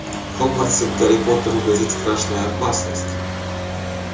в хогвартсе гарри поттеру грозит страшная опасность